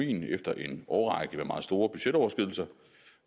efter en årrække med meget store budgetoverskridelser